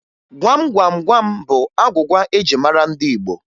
Gwam Gwam Gwam bụ agwụgwa eji mara ndị Igbo